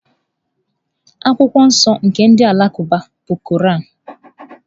Akwụkwọ nsọ nke ndị Alakụba bụ Koran.